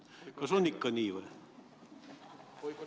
Kas on nii või?